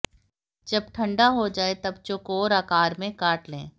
जब ठंडा हो जाए तब चौकोर आकार में काट लें